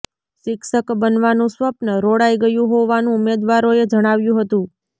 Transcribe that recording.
શિક્ષક બનવાનું સ્વપ્ન રોળાઇ ગયું હોવાનું ઉમેદવારોએ જણાવ્યું હતું